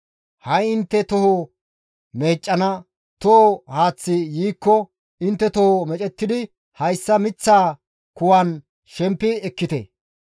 Ha7i intte toho meeccana toho haaththi yiikko intte toho meecettidi hayssa miththaa kuwan shempi ekkite.